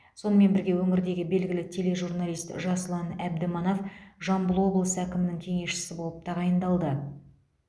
сонымен бірге өңірдегі белгілі тележурналист жасұлан әбдіманап жамбыл облысы әкімінің кеңесшісі болып тағайындалды